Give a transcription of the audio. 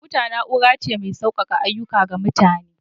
Kwamfuta na'ura ce mai sauƙake ayyuka ga mutane.